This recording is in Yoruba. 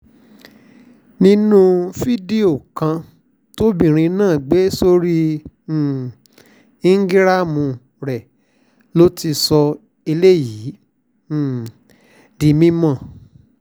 nínú fídíò kan tóbìnrin náà gbé sórí um íńgíráàmù rẹ̀ ló ti sọ eléyìí um di mímọ́